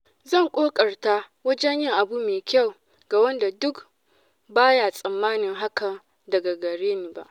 Zan ƙoƙarta wajen yin abu mai kyau ga wanda duk ba ya tsammanin hakan daga gare ni.